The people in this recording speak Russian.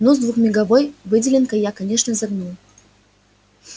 ну с двухмеговой выделенкой я конечно загнул